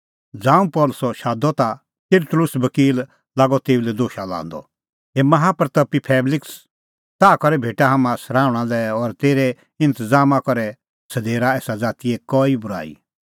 ज़ांऊं पल़सी शादअ ता तिरतुल्लुस बकील लागअ तेऊ लै दोशा लांदअ हे माहा प्रतपी फेलिक्स ताह करै भेटा हाम्हां सराहुणां लै और तेरै इंतज़ामा करै सधेरा एसा ज़ातीए कई बूराई